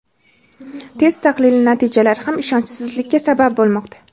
test tahlili natijalari ham ishonchsizlikka sabab bo‘lmoqda.